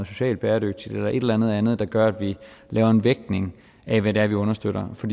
social bæredygtighed eller et eller andet andet der gør at vi laver en vægtning af hvad det er vi understøtter for